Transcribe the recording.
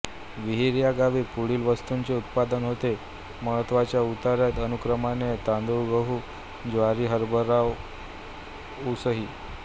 विहीर ह्या गावी पुढील वस्तूंचे उत्पादन होते महत्वाच्या उतरत्या अनुक्रमाने तांदूळगहूज्वारीहरभराऊसइ